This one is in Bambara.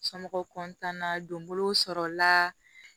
Somɔgɔw na donbolow sɔrɔla